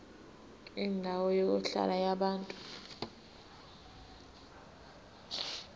kwendawo yokuhlala yabantu